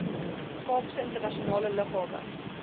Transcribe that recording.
kaapstadse internasionale lughawe